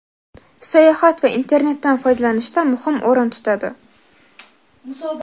sayohat va internetdan foydalanishda muhim o‘rin tutadi.